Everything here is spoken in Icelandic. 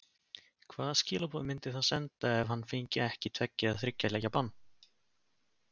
Hvaða skilaboð myndi það senda ef hann fengi ekki tveggja eða þriggja leikja bann?